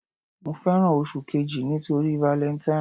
Mo fẹ́ràn oṣù kejì nítorí valentine.